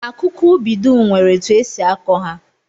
Akụkụ ubi dum nwere etu e si akọ ha